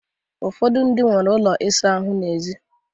Ụfọdụ ndị nwere ụlọ ịsa ahụ ha n'èzí